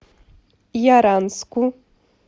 яранску